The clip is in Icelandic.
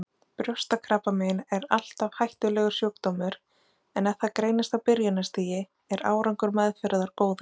Brjóstakrabbamein er alltaf hættulegur sjúkdómur en ef það greinist á byrjunarstigi er árangur meðferðar góður.